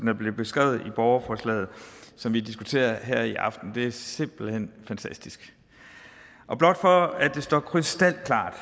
er blevet beskrevet i borgerforslaget som vi diskuterer her i aften det er simpelt hen fantastisk og blot for at det står krystalklart